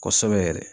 Kosɛbɛ yɛrɛ